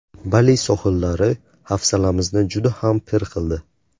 Bali sohillari hafsalamizni juda ham pir qildi.